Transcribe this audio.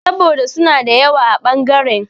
Saboda suna da yawa a ɓangaren.